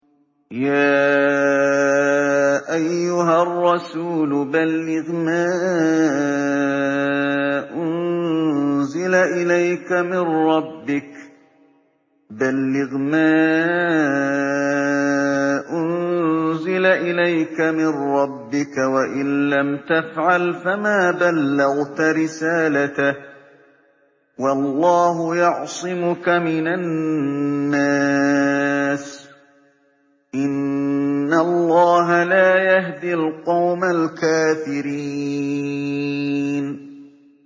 ۞ يَا أَيُّهَا الرَّسُولُ بَلِّغْ مَا أُنزِلَ إِلَيْكَ مِن رَّبِّكَ ۖ وَإِن لَّمْ تَفْعَلْ فَمَا بَلَّغْتَ رِسَالَتَهُ ۚ وَاللَّهُ يَعْصِمُكَ مِنَ النَّاسِ ۗ إِنَّ اللَّهَ لَا يَهْدِي الْقَوْمَ الْكَافِرِينَ